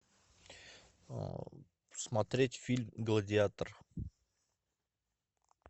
смотреть фильм гладиатор